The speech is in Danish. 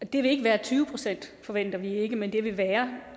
det vil ikke være tyve procent det forventer vi ikke men det vil